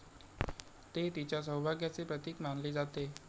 ते तिच्या सौभाग्याचे प्रतीक मानले जाते.